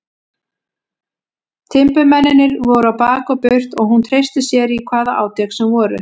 Timburmennirnir voru á bak og burt og hún treysti sér í hvaða átök sem voru.